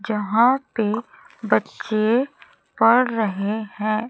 जहां पे बच्चे पढ़ रहे हैं।